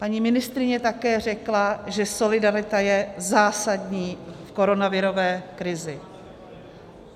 Paní ministryně také řekla, že solidarita je zásadní v koronavirové krizi.